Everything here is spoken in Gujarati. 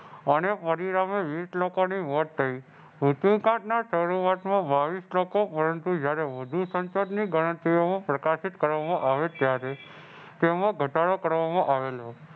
અને વીસ લોકોની મોત થઈ. શરૂઆતમાં બાવીસ લોકો પરંતુ જ્યારે વધુ સંસદની ગણતરીઓ પ્રકાશિત કરવામાં આવી ત્યારે તેમાં ઘટાડો કરવામાં આવેલો.